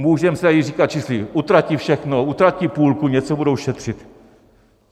Můžeme si tady říkat, jestli utratí všechno, utratí půlku, něco budou šetřit.